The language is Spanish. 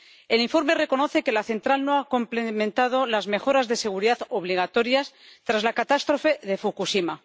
El informe reconoce que la central no ha implementado las mejoras de seguridad obligatorias tras la catástrofe de Fukushima.